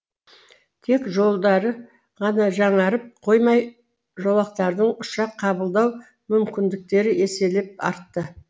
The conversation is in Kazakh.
тек жолдары ғана жаңарып қоймай жолақтардың ұшақ қабылдау мүмкіндіктері еселеп артты